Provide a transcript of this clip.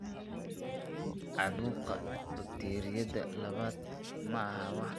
Caabuqa bakteeriyada labaad maaha wax aan caadi ahayn.